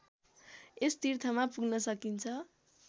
यस तीर्थमा पुग्न सकिन्छ